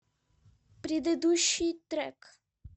предыдущий трек